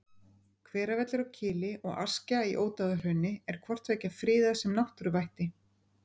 Hveravellir á Kili og Askja í Ódáðahrauni er hvort tveggja friðað sem náttúruvætti.